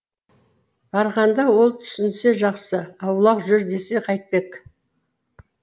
барғанда ол түсінсе жақсы аулақ жүр десе қайтпек